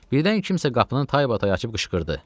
Birdən kimsə qapının taybatay açıb qışqırdı.